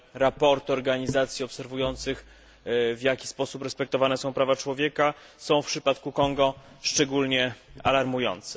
raporty organizacji obserwujących, w jaki sposób respektowane są prawa człowieka, są w przypadku Konga szczególnie alarmujące.